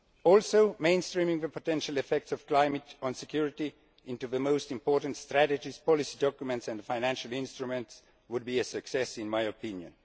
Also the mainstreaming of potential effects of climate on security into the most important strategies, policy documents and financial instruments, would be a success in my opinion.